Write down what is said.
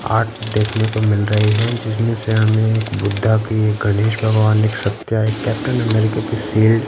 Art देखने को मिल रही है जिसमें से हमें एक बुद्धा की एक गणेश भगवान एक सत्या एक कैप्टन अमेरिका की शील्ड ।